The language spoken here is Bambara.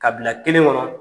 Kabila kelen kɔnɔ.